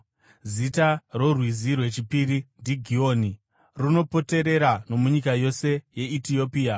Zita rorwizi rwechipiri ndiGihoni; runopoterera nomunyika yose yeEtiopia.